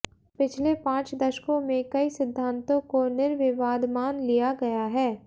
पिछले पांच दशकों में कई सिद्धांतों को निर्विवाद मान लिया गया है